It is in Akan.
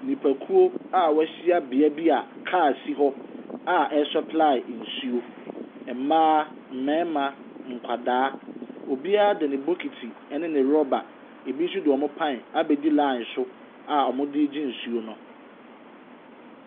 Nipakuo a wɛhyia beaeɛ bi a car si hɔ a ɛresupply nsuo. Mmaa, mmarima, nkwadaa. Obiara de ne bokiti ɛne ne rubber, ebi nso de wɔn pan abedi line so a wɔde ɛregye nsuo no.